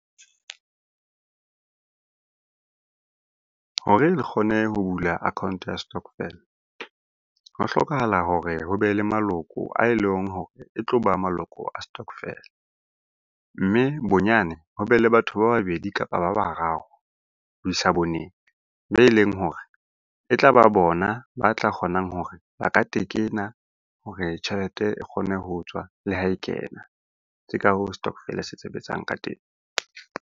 Hore re kgone ho bula account-o ya stokvel, ho hlokahala hore ho be le maloko ae leng hore e tloba maloko a stokvel. Mme bonyane ho be le batho ba babedi, kapa ba bararo ho isa boneng be leng hore e tlaba bona ba tla kgonang hore ba ka tekena hore tjhelete e kgone ho tswa le ha e kena. Ke ka hoo stokvel-e se sebetsang ka teng.